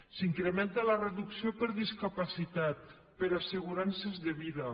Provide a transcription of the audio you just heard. s’incrementa la reducció per discapacitat per assegurances de vida